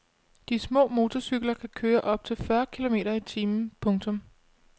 De små motorcykler kan køre op til fyrre kilometer i timen. punktum